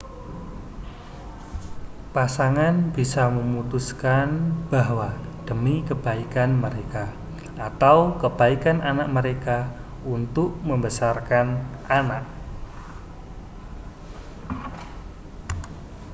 pasangan bisa memutuskan bahwa demi kebaikan mereka atau kebaikan anak mereka untuk membesarkan anak